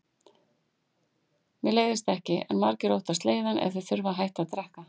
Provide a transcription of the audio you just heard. Mér leiðist ekki, en margir óttast leiðann ef þeir þurfa að hætta að drekka.